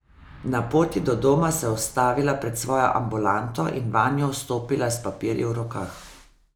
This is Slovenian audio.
Na poti do doma se je ustavila pred svojo ambulanto in vanjo vstopila s papirji v rokah.